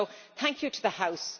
So thank you to the House.